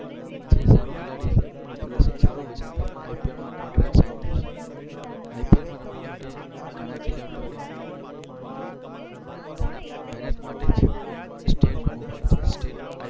જે સારો ખેલાડી હશે, જેનું પ્રદર્શન સારું હશે તેમનો IPL માં કોન્ટ્રાક્ટ સાઈન થાય છે. IPL માં રમવા માટે ઘણા ખેલાડીઓને તેમના મહેનત માટે જ સ્ટેટ રમવું પડે છે. સ્ટેટ